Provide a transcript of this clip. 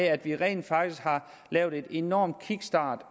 at vi rent faktisk har lavet en enorm kickstart